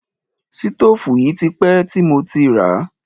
Sítòfù yìí ti pẹ́ ti mo ti ràá.